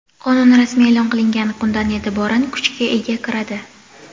Qonun rasmiy eʼlon qilingan kundan eʼtiboran kuchga ega kiradi.